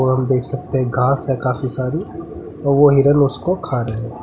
और हम देख सकते है घास है काफी सारी और वह हिरन उसको खा रहें हैं।